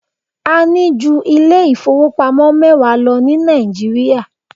A ní ju ilé ìfowópamọ́ mẹwa lọ ní Nàìjíríà.